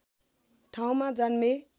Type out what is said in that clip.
ठाउँमा जन्मे